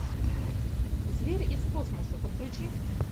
зверь из космоса подключи